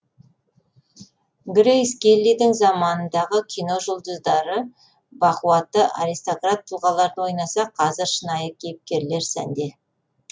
грейс келлидің заманындағы кино жұлдыздары бақуатты аристократ тұлғаларды ойнаса қазір шынайы кейіпкерлер сәнде